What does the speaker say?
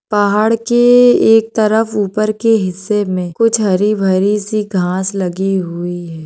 पहाड़ के एक तरफ उपर के हिस्से मे कुछ हरी भरी सी घाँस लगी हुई है।